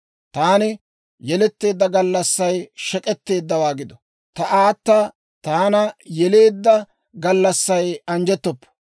Taani yeletteedda gallassay shek'k'etteeddawaa gido! Ta aata taana yeleedda gallassay anjjettoppo!